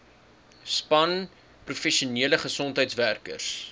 span professionele gesondheidswerkers